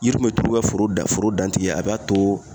Yiri me turu ka foro da foro dan tigɛ a b'a too